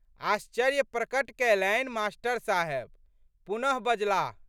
आश्चर्य प्रकट कैलनि मा.साहेब। पुनः बजलाह।